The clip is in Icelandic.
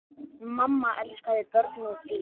Mamma elskaði börn og dýr.